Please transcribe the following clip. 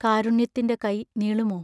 കാരുണ്യത്തിന്റെ കൈ നീളുമോ?